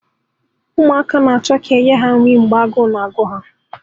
Ụmụaka na-achọ ka e nye ha nri mgbe agụụ na-agụ ha